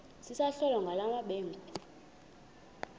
sisakholwa ngala mabedengu